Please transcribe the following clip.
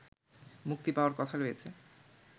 মুক্তি পাওয়ার কথা রয়েছে